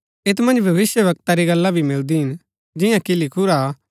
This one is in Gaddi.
ऐत मन्ज भविष्‍यवक्ता री गल्ला भी मिलदी हिन जिंआं कि लिखुरा हा